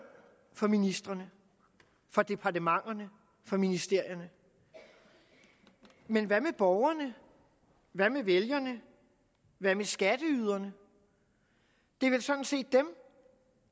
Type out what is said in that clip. for ministrene for departementerne for ministerierne men hvad med borgerne hvad med vælgerne hvad med skatteyderne det er vel sådan set dem